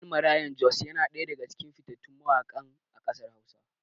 Ɗan Maraya Jos yana ɗaya daga cikin fitattun mawaƙa a ƙasar hausa.